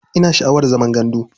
Ina sha'awar zaman gandu.